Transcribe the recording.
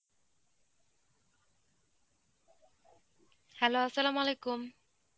hello. Arbi